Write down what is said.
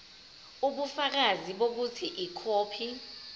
ubufakazi bokuthi ikhophi